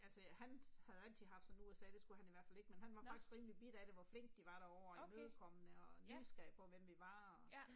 Altså han havde rigtig haft sådan USA det skulle han i hvert fald ikke, men han var faktisk rimelig bidt af det hvor flinke de var derovre og imødekommende og nysgerrige på hvem vi var og